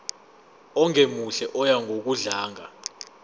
ongemuhle oya ngokudlanga